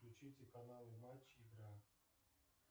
включите каналы матч игра